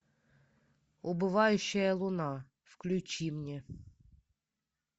убывающая луна включи мне